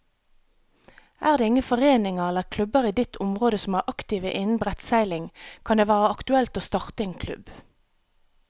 Er det ingen foreninger eller klubber i ditt område som er aktive innen brettseiling, kan det være aktuelt å starte en klubb.